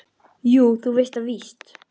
Jú, þú veist það víst.